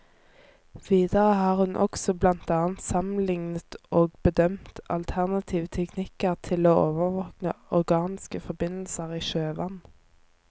Videre har hun også blant annet sammenlignet og bedømt alternative teknikker til å overvåke organiske forbindelser i sjøvann.